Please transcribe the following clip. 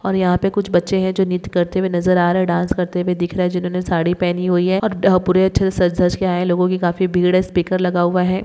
और यहाँं पर कुछ बच्चे हैं जो नित्य करते हुए नजर आ रहा है डांस करते हुए दिख रहा है जिन्होंने साड़ी पहनी हुई है और पूरे अच्छे से सज धज के आए लोगों की काफी भीड़ है स्पीकर लगा हुआ है